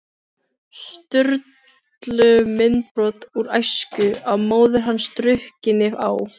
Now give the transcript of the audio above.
Sturlu myndbrot úr æsku, af móður hans drukkinni á